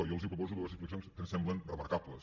i jo els proposo dues explicacions que em semblen remarcables